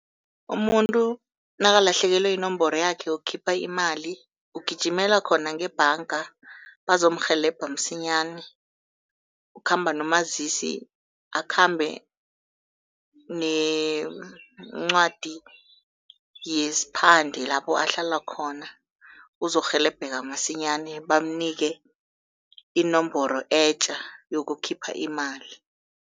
Umuntu nakalahlekelwe yinomboro yakhe yokukhipha imali ugijimela khona ngebhanga bazomrhelebha msinyana. Ukhamba nomazisi, akhambe nencwadi yesiphande lapho ahlala khona, uzokurhelebheka msinyana bamnike inomboro etjha yokukhipha imali.